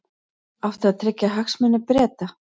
Átti að tryggja hagsmuni Breta